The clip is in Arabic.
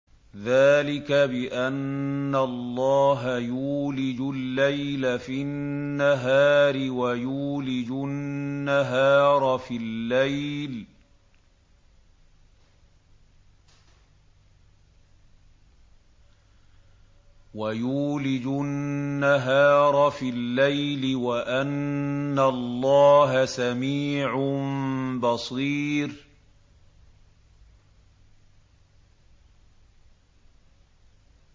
ذَٰلِكَ بِأَنَّ اللَّهَ يُولِجُ اللَّيْلَ فِي النَّهَارِ وَيُولِجُ النَّهَارَ فِي اللَّيْلِ وَأَنَّ اللَّهَ سَمِيعٌ بَصِيرٌ